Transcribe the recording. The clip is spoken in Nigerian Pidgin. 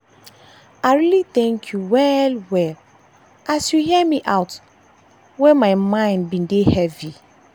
i really thank you well well as you hear me out when my mind bin dey heavy.